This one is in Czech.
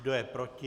Kdo je proti?